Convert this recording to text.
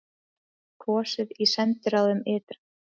Kosið í sendiráðum ytra